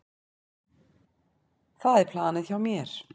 Það er planið hjá mér.